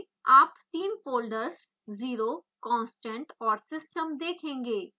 आप तीन folders 0 constant और system देखेंगे